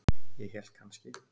Ég hélt kannski.